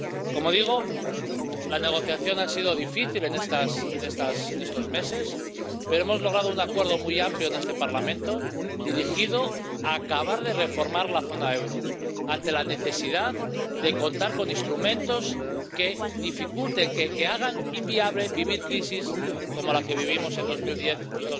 Como digo, la negociación ha sido difícil en estos meses, pero hemos logrado un acuerdo muy amplio en este Parlamento, dirigido a acabar de reformar la zona del euro ante la necesidad de contar con instrumentos que dificulten, que hagan inviable vivir crisis como las que vivimos en 2010 y